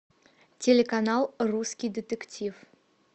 телеканал русский детектив